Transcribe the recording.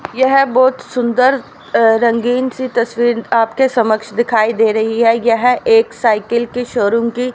यह बहुत सुंदर अह रंगीन सी तस्वीर आपके समक्ष दिखाई दे रही है यह एक साइकिल की शोरूम की--